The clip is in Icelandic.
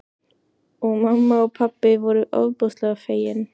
Og mamma og pabbi voru ofboðslega fegin.